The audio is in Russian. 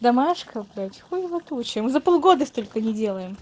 домашка блять хуева туча за полгода столько не делаем